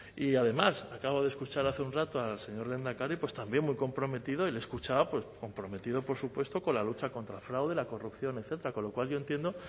y además acabo de escuchar hace un rato al señor lehendakari pues también muy comprometido y le he escuchado pues comprometido por supuesto con la lucha contra el fraude la corrupción etcétera con lo cual yo entiendo